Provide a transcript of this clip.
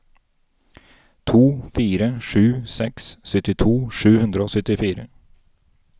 to fire sju seks syttito sju hundre og syttifire